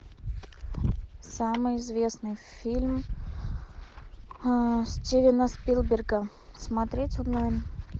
самый известный фильм стивена спилберга смотреть онлайн